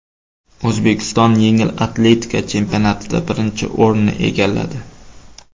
O‘zbekiston yengil atletika chempionatida birinchi o‘rinni egalladi.